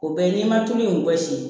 O bɛɛ n'i ma tulu in bɔsi